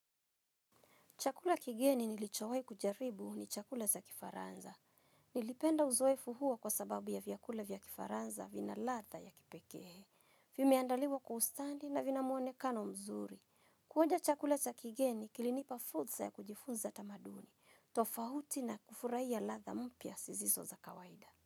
Chakula kigeni nilichowahi kujaribu ni chakula za kifaranza. Nilipenda uzoefu huo kwa sababu ya vyakula vya kifaranza vina ladha ya kipekee vimeandaliwa kwa ustadi, na vina muonekano mzuri kuonja chakula za kigeni kilinipa fursa ya kujifunza tamaduni. Tofauti na kufurahia ladha mpya zisizo za kawaida.